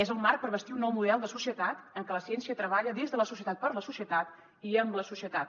és el marc per bastir un nou model de societat en què la ciència treballa des de la societat per a la societat i amb la societat